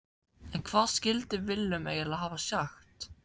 En hvað skildi Willum eiginlega hafa sagt?